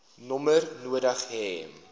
nommer nodig hê